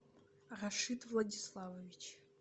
рашид владиславович